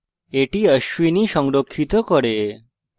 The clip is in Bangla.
এটি ashwini সংরক্ষিত করে